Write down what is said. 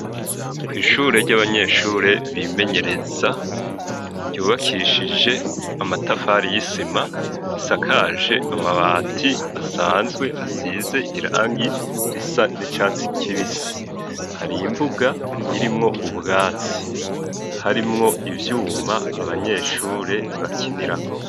Kwishure ry'abanyeshure bimenyereza ryubakishije amatafari y'isima risakaje amabati asanzwe asize irangi risa n'icatsi kibisi hari imbuga irimwo ubwatsi harimwo ivyuma abanyeshure bakinirako.